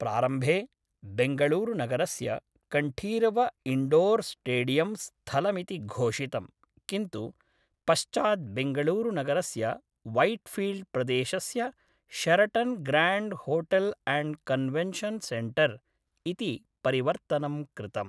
प्रारम्भे बेङ्गळूरुनगरस्य Kanteerava indoor stadium स्थलमिति घोषितं किन्तु पश्चात् बेङ्गळूरुनगरस्य वैट्फ़ील्ड् प्रदेशस्य Sheraton Grand hotel and convention centre इति परिवर्तनं कृतम्।